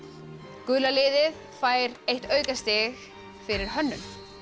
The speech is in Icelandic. gula liðið fær eitt aukastig fyrir hönnun